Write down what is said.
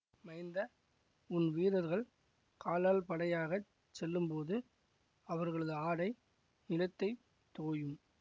மைந்த உன் வீரர்கள் காலாள்படையாகச் செல்லும்போது அவர்களது ஆடை நிலத்தை தோயும்